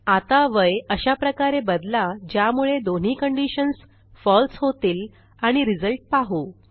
आता वय अशाप्रकारे बदला ज्यामुळे दोन्ही कंडिशन्स फळसे होतील आणि रिझल्ट पाहू